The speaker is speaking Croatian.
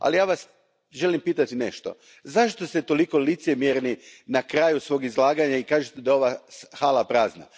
Ali ja vas želim pitati nešto zašto ste toliko licemjerni na kraju svog izlaganja i kažete da je ova hala prazna.